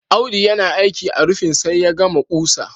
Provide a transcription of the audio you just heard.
Audu yana aiki a rufin sai ya gama ƙusa